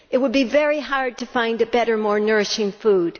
It would be very hard to find a better and more nourishing food.